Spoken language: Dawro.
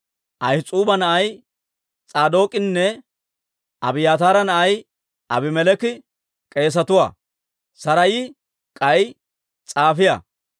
Ahis'uuba na'ay S'aadook'inne Abiyaataara na'ay Abimeleeki k'eesetuwaa; Saraayi k'ay s'aafiyaa;